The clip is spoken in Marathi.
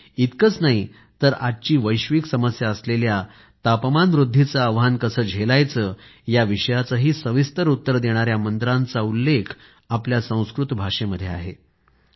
इतकंच नाही तर आजची वैश्विक समस्या असलेल्या तापमान वृद्धीचे आव्हान कसं झेलायचं या विषयाचंही सविस्तर उत्तर देणाऱ्या मंत्रांचा उल्लेख संस्कृत भाषेमध्ये आहे असंही सांगण्यात येतं